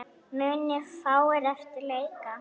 Munu fáir eftir leika.